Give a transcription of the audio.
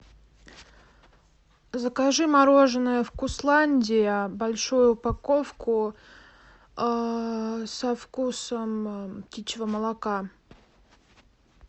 закажи мороженое вкусландия большую упаковку со вкусом птичьего молока